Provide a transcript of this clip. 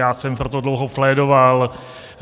Já jsem pro to dlouho plédoval.